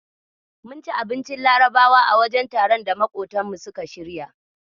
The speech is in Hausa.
Mun ci abincin Larabawa a wajen taron da maƙotanmu suka shirya.